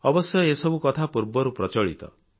ଅବଶ୍ୟ ଏସବୁ କଥା ପୂର୍ବରୁ ପ୍ରଚଳିତ